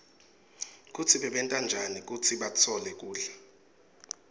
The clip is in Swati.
kutsi bebenta njani kutsi batfole kudla